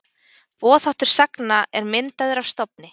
Boðháttur sagna er myndaður af stofni.